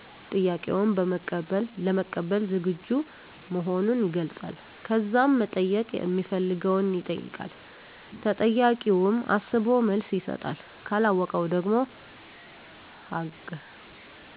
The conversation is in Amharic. ጥያቄውን ለመቀበል ዝግጁ መሆኑን ይገልጻል። ከዛም መጠየቅ ሚፈልገውን ይጠይቃል። ተጠያቂውም አስቦ መልስ ይሰጣል። ካለወቀው ደግሞ ሀገ